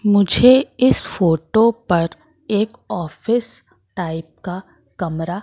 मुझे इस फोटो पर एक ऑफिस टाइप का कमरा--